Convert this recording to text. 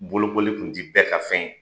Bolokoli kun ti bɛɛ ka fɛn ye